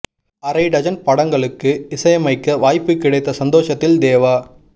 அரை டஜன் படங்களுக்கு இசையமைக்க வாய்ப்பு கிடைத்த சந்தோஷத்தில் தேவா